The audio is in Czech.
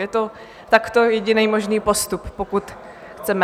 Je to takto jediný možný postup, pokud chceme.